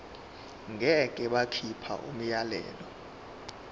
ngeke bakhipha umyalelo